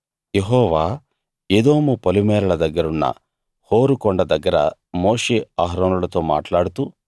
యెహోవా Edom పొలిమేరల దగ్గరున్న Hor కొండ దగ్గర మోషే అహరోనులతో మాట్లాడుతూ